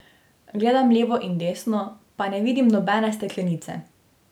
Gledam levo in desno, pa ne vidim nobene steklenice.